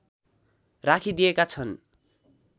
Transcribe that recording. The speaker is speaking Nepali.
राखिदिएका छन्